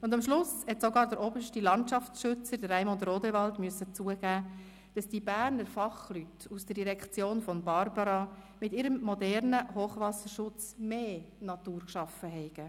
Und zum Schluss musste sogar der oberste Landschaftsschützer, Raimund Rodewald, zugeben, dass die Berner Fachleute aus der Direktion von Barbara Egger mit ihrem modernen Hochwasserschutz mehr Natur geschaffen haben.